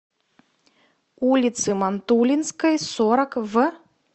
улицы мантулинской сорок в